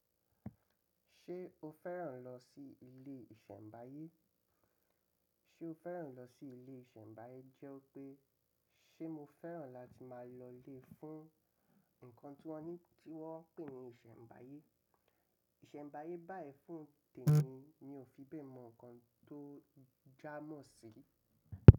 Ṣé o fẹ́ràn lọ sí ilé ìsẹ̀mbáyé? Ṣé o fẹ́ràn lo si ile iṣẹmbaye jẹ́ wípé ṣe mo fẹ́ràn lati máa lọ fun ǹkan ti wọn pé ni iṣẹmbaye ìsẹ̀mbáyé báyìí fún tèmi mi ò fi bẹ́ẹ̀ mọ̀ nǹkan tó jámọ̀ sí.